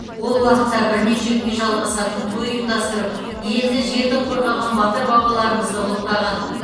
ол уақытта бірнеше күнге жалғасатын той ұйымдастырып елді жерді қорғаған батыр бабаларымызды ұлықтаған